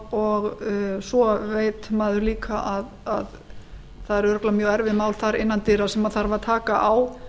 og svo veit maður líka að það eru örugglega mjög erfið mál þar innan dyra sem þarf að taka á